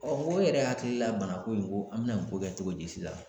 mɔgɔ yɛrɛ hakili la bana ko in ko an bɛna nin ko kɛ cogo di sisan